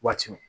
Waati min